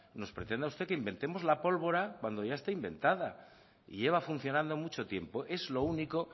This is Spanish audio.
nos pretenda usted que inventemos la pólvora cuando ya está inventada y lleva funcionando mucho tiempo es lo único